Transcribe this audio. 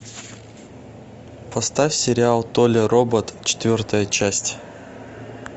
поставь сериал толя робот четвертая часть